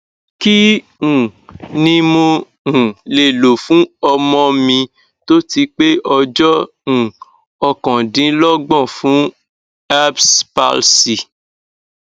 kí um ni mo um le lo fún ọmọ mi tó ti pé ọjọ um okandinlogbon fun erbs palsy